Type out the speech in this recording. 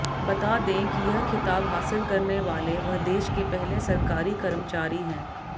बता दें कि यह खिताब हासिल करने वाले वह देश के पहले सरकारी कर्मचारी हैं